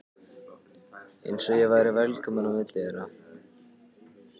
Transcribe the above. Eins og ég væri velkominn á milli þeirra.